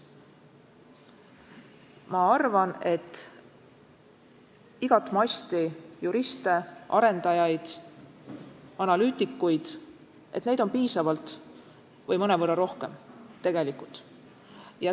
Ma arvan, et igat masti juriste, arendajaid, analüütikuid on tegelikult piisavalt või mõnevõrra vajadusest rohkem.